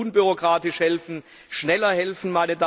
Wir wollen unbürokratisch helfen, schneller helfen.